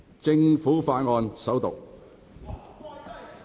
政府法案：首讀。